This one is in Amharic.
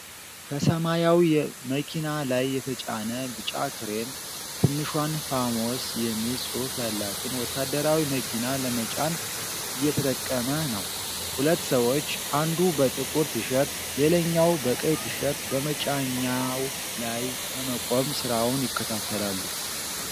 ከሰማያዊ መኪና ላይ የተጫነ ቢጫ ክሬን ትንሿን "ፋሞስ" የሚል ጽሑፍ ያላትን ወታደራዊ መኪና ለመጫን እየተጠቀመ ነው። ሁለት ሰዎች፣ አንዱ በጥቁር ቲሸርት፣ ሌላኛው በቀይ ቲሸርት፣ በመጫኛው ላይ በመቆም ሥራውን ይከታተላሉ።